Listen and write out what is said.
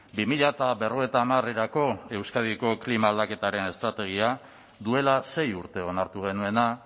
bi mila berrogeita hamarerako euskadiko klima aldaketaren estrategia duela sei urte onartu genuena